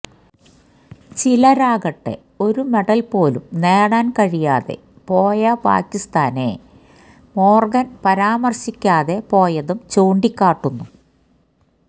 ചിലരാകട്ടെ ഒരു മെഡൽ പോലും നേടാൻ കഴിയാതെ പോയ പാക്കിസ്ഥാനെ മോർഗൻ പരാമർശിക്കാതെ പോയതും ചൂണ്ടിക്കാട്ടുന്നു